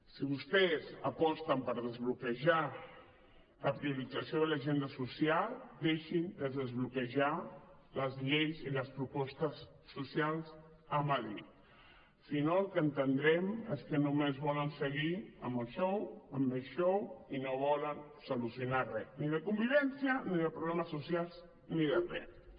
si vostès aposten per desbloquejar la priorització de l’agenda social deixin de desbloquejar les lleis i les propostes socials a madrid si no el que entendrem és que només volen seguir amb el show amb més show i no volen solucionar res ni de convivència ni de problemes socials ni de res